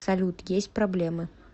салют есть проблемы